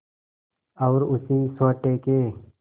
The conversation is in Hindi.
और उसी सोटे के